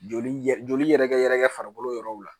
Joli ye joli yɛrɛ kɛ yɛrɛ farikolo yɔrɔw la